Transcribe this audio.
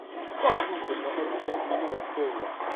как выгодно обменять миллион доллар